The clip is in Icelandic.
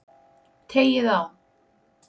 Teygið á.